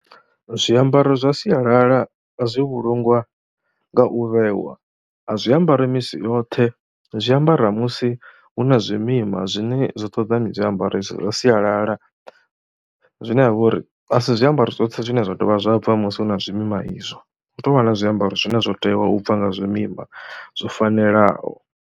Zwiambaro zwa sialala a zwi vhulungwa nga u vhewa, a zwi ambarwi misi yoṱhe, zwi ambara musi hu na zwimima zwine zwo ṱoḓa ni zwi ambare zwa sialala zwine ha vha uri a si zwiambaro zwoṱhe zwine zwa dovha zwa bva musi hu na zwimima izwo, hu tou vha na zwiambaro zwine zwo tewa u bva nga zwimima zwo fanelaho.